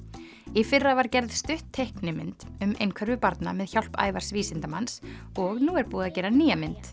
í fyrra var gerð stutt teiknimynd um einhverfu barna með hjálp Ævars vísindamanns og nú er búið að gera nýja mynd